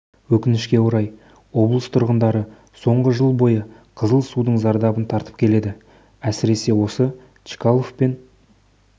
өкінішке орай облыс тұрғындары соңғы жыл бойы қызыл судың зардабын тартып келеді әсіресе осы чкалов пен